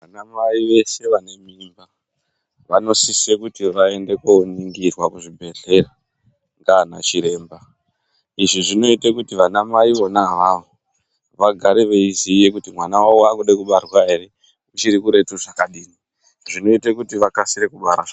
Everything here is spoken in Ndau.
Ana Mai veshe vane mimba vanosise kuti vaende koningirwa kuzvibhedhlera ndiana chiremba, izvi zvinoita kuti vana mai vona avavo vagare veiziya kuti mwana wavo wakuda kubarwa ere, uchiri kuretu zvakadini zvinoita kuti vakasire kubara.